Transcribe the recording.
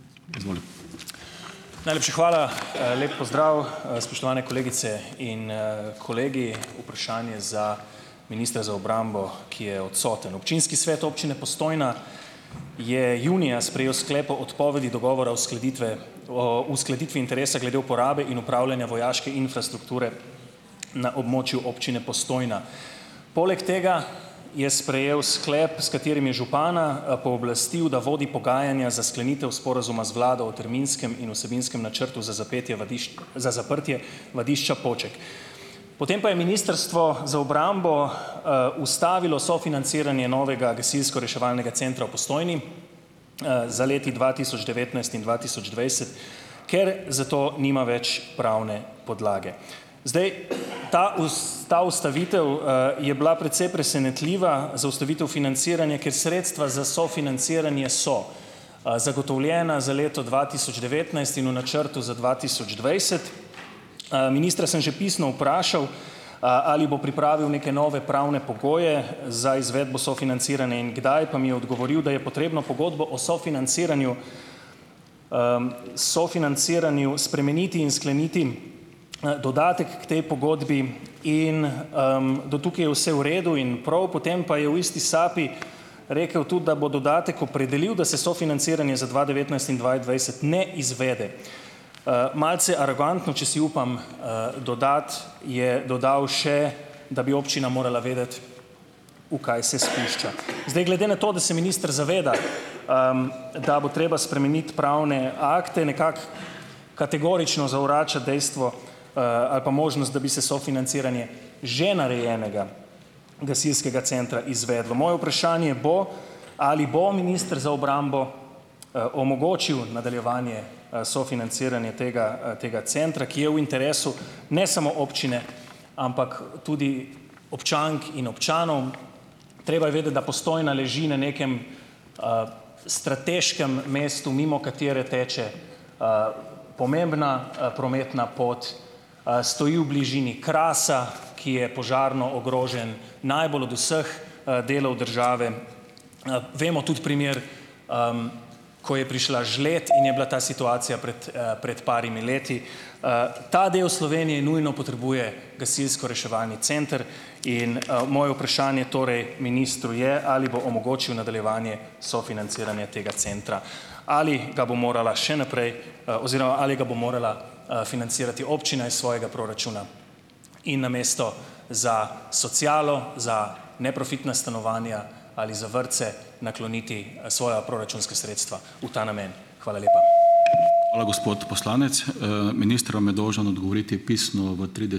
Najlepša hvala. Lep pozdrav, spoštovane kolegice in kolegi! Vprašanje za ministra za obrambo, ki je odsoten. Občinski svet Občine Postojna je junija sprejel sklep o odpovedi dogovora uskladitve o uskladitvi interesa glede uporabe in opravljanja vojaške infrastrukture na območju Občine Postojna. Poleg tega je sprejel sklep, s katerim je župana pooblastil, da vodi pogajanja za sklenitev sporazuma z vlado o terminskem in vsebinskem načrtu za zapetje za zaprtje vadišča Poček. Potem pa je ministrstvo za obrambo ustavilo sofinanciranje novega gasilsko-reševalnega centra v Postojni za leti dva tisoč devetnajst in dva tisoč dvajset, ker za to nima več pravne podlage. Zdaj, ta ta ustavitev je bila precej presenetljiva, zaustavitev financiranja, ker sredstva za sofinanciranje so zagotovljena za leto dva tisoč devetnajst in v načrtu za dva tisoč dvajset. Ministra sem že pisno vprašal, ali bo pripravil neke nove pravne pogoje za izvedbo sofinanciranja in kdaj, pa mi je odgovoril, da je potrebno pogodbo o sofinanciranju sofinanciranju spremeniti in skleniti dodatek k tej pogodbi in do tukaj je vse v redu in prav. Potem pa je v isti sapi rekel tudi, da bo dodatek opredelil, da se sofinanciranje za dva devetnajst in dve dvajset ne izvede. Malce arogantno, če si upam dodati, je dodal še, da bi občina morala vedeti, v kaj se spušča. Zdaj, glede na to, da se minister zaveda, da bo treba spremeniti pravne akte, nekako kategorično zavrača dejstvo ali pa možnost, da bi se sofinanciranje že narejenega gasilskega centra izvedlo. Moje vprašanje bo: ali bo minister za obrambo omogočil nadaljevanje sofinanciranje tega tega centra, ki je v interesu ne samo občine, ampak tudi občank in občanov? Treba je vedeti, da Postojna leži na nekem strateškem mestu, mimo katere teče pomembna prometna pot, stoji v bližini Krasa, ki je požarno ogrožen, najbolj od vseh delov države. Vemo tudi primer ko je prišla žled in je bila ta situacija prej pred parimi leti. Ta del Slovenije nujno potrebuje gasilsko-reševalni center in moje vprašanje torej ministru je, ali bo omogočil nadaljevanje sofinanciranje tega centra. Ali ga bo morala še naprej oziroma ali ga bo morala financirati občina iz svojega proračuna in namesto za socialo, za neprofitna stanovanja ali za vrtce nakloniti svoja proračunska sredstva v ta namen. Hvala lepa.